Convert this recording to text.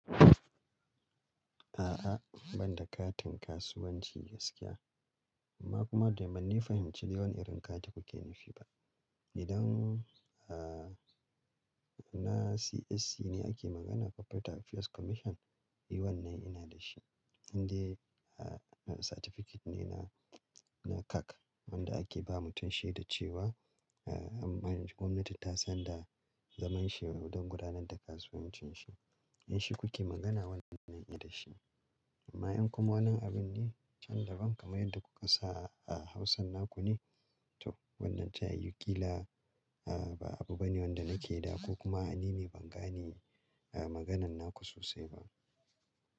A'a, ban da katin kasuwanci gaskiya. Amma kuma dai ban fahimci dai wani irin kati kuke nufi ba. Idan, ah, na CSC ne ake magana Corporate Affairs Commission, e wannan ina da shi. Inde ah, certificate ne na, na CAC wanda ake ba mutum shi da cewa, ah, gwamnati ta sanda zaman shi don gudanar da kasuwancin shi. Idan shi kuke magana wannan ina da shi. Amma in kuma wani abun ne can da ban kamar yadda kuka sa a Hausan naku ne. To wannan tayiwu kila, ah, ba abu bane wanda nake da ko kuma a ni ne ban gane, ah, maganan naku sosai ba.